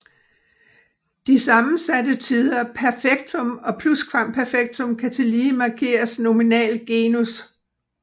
De sammensatte tider perfektum og pluskvamperfektum kan tillige markere nominal genus